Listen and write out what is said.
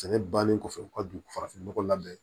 Sɛnɛ bannen kɔfɛ u ka dugu farafin ɲɔgɔ labɛn